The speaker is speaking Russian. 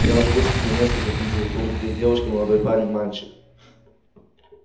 я уже высмотрел несколько кандидатур две девушки молодой парень мальчик